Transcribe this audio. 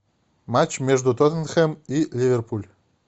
матч между тоттенхэм и ливерпуль